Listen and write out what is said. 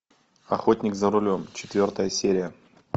охотник за рулем четвертая серия